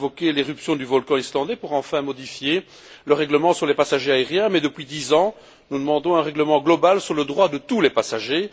Vous invoquez l'éruption du volcan islandais pour enfin modifier le règlement sur les passagers aériens, mais depuis dix ans, nous demandons un règlement global sur le droit de tous les passagers.